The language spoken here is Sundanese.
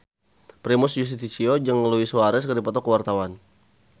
Primus Yustisio jeung Luis Suarez keur dipoto ku wartawan